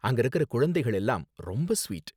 அங்கிருக்கிற குழந்தைகள் எல்லாம் ரொம்ப ஸ்வீட்.